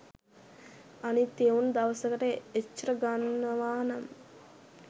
අනිත් එවුන් දවසකට එච්චර ගන්නවා නම්